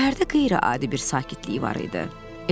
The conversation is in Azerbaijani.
Şəhərdə qeyri-adi bir sakitlik var idi.